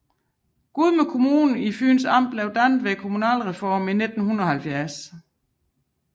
Gudme Kommune i Fyns Amt blev dannet ved kommunalreformen i 1970